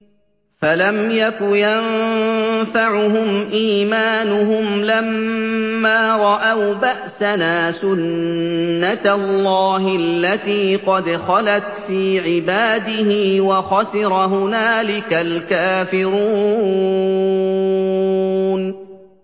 فَلَمْ يَكُ يَنفَعُهُمْ إِيمَانُهُمْ لَمَّا رَأَوْا بَأْسَنَا ۖ سُنَّتَ اللَّهِ الَّتِي قَدْ خَلَتْ فِي عِبَادِهِ ۖ وَخَسِرَ هُنَالِكَ الْكَافِرُونَ